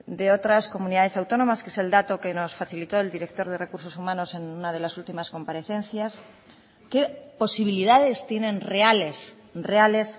de otras comunidades autónomas que es el dato que nos facilitó el director de recursos humanos en una de las últimas comparecencias qué posibilidades tienen reales reales